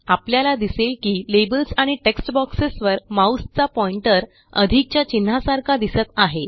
आपल्याला दिसेल की लेबल्स आणि टेक्स्ट बॉक्सेस वर माऊसचा पॉइंटर अधिकच्या चिन्हासारखा दिसत आहे